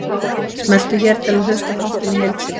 Smelltu hér til að hlusta á þáttinn í heild sinni